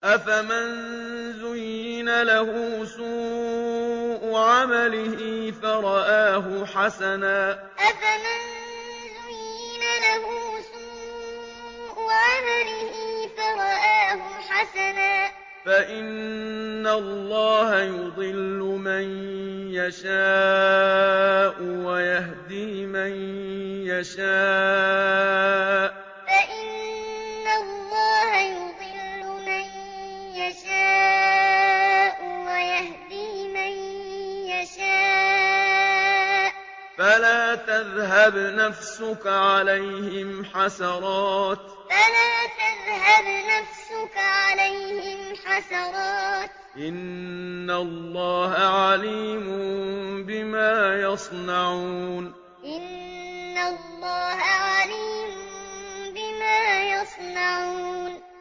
أَفَمَن زُيِّنَ لَهُ سُوءُ عَمَلِهِ فَرَآهُ حَسَنًا ۖ فَإِنَّ اللَّهَ يُضِلُّ مَن يَشَاءُ وَيَهْدِي مَن يَشَاءُ ۖ فَلَا تَذْهَبْ نَفْسُكَ عَلَيْهِمْ حَسَرَاتٍ ۚ إِنَّ اللَّهَ عَلِيمٌ بِمَا يَصْنَعُونَ أَفَمَن زُيِّنَ لَهُ سُوءُ عَمَلِهِ فَرَآهُ حَسَنًا ۖ فَإِنَّ اللَّهَ يُضِلُّ مَن يَشَاءُ وَيَهْدِي مَن يَشَاءُ ۖ فَلَا تَذْهَبْ نَفْسُكَ عَلَيْهِمْ حَسَرَاتٍ ۚ إِنَّ اللَّهَ عَلِيمٌ بِمَا يَصْنَعُونَ